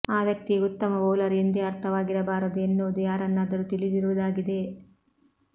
ಆ ವ್ಯಕ್ತಿಯು ಉತ್ತಮ ಬೌಲರ್ ಎಂದೇ ಅರ್ಥವಾಗಿರಬಾರದು ಎನ್ನುವುದು ಯಾರನ್ನಾದರೂ ತಿಳಿದಿರುವುದಾಗಿದೆ